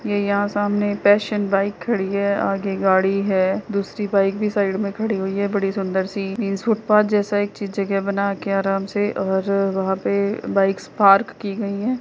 ये यहाँ सामने पैसन बाइक खड़ी है आगे गाड़ी है दूसरी बाइक भी साइड में खड़ी हुई है बड़ी सुंदर सी फुटपाथ जैसा एक अच्छी जगह बना के आराम से और वहाँ पे बाइक्स पार्क की गयी हैं।